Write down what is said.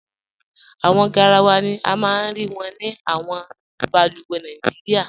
Awọn gáràwà ni a maa n rí wọn ni awọn bàlùwẹ̀ Nàìjíríà.